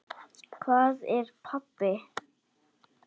Hvað er að, pabbi?